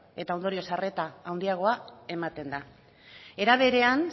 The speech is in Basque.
eta ondorioz arreta handiagoa ematen da era berean